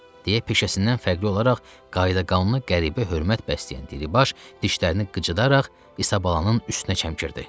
deyə peşəsindən fərqli olaraq qayıdaqanlıya qəribə hörmət bəsləyən Diribaş dişlərini qıcıdaraq İsabalın üstünə çəmkirdi.